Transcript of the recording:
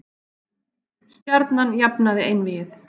Stjarnan jafnaði einvígið